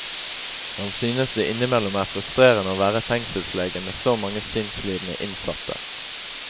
Han synes det innimellom er frustrerende å være fengselslege med så mange sinnslidende innsatte.